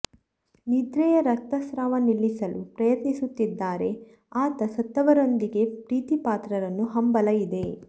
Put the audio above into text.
ನಿದ್ರೆಯ ರಕ್ತಸ್ರಾವ ನಿಲ್ಲಿಸಲು ಪ್ರಯತ್ನಿಸುತ್ತಿದ್ದಾರೆ ಆತ ಸತ್ತವರೊಂದಿಗೆ ಪ್ರೀತಿಪಾತ್ರರನ್ನು ಹಂಬಲ ಇದೆ